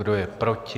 Kdo je proti?